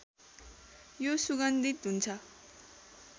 यो सुगन्धित हुन्छ